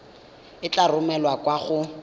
e tla romelwa kwa go